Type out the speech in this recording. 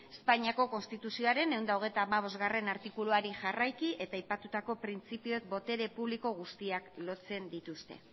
espainiako konstituzioaren ehun eta hogeita hamabost artikuluari jarraiki eta aipatutako printzipioek botere publiko guztiak lotzen dituzte